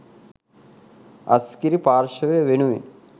අස්ගිරි පාර්ශවය වෙනුවෙන්